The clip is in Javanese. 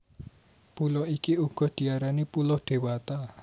Pulo iki uga diarani Pulo Dewata